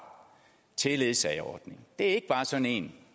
til ledsageordningen det er ikke bare sådan en